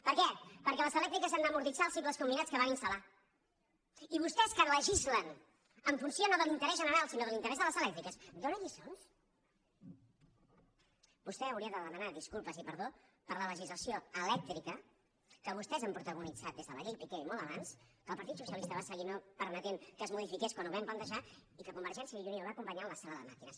per què perquè les elèctriques han d’amortitzar els cicles combinats que van installegislen en funció no de l’interès general sinó de l’interès de les elèctriques donen lliçons vostè hauria de demanar disculpes i perdó per la legislació elèctrica que vostès han protagonitzat des de la llei piqué i molt abans que el partit socialista va seguir permetent que es modifiqués quan ho vam plantejar i que convergència i unió va acompanyar en la sala de màquines